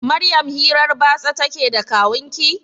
Maryam hirar batsa ta ke da kawunki?